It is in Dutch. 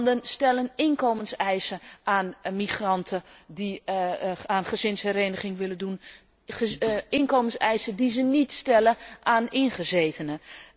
Landen stellen inkomenseisen aan migranten die aan gezinshereniging willen doen, inkomenseisen die ze niet stellen aan ingezetenen.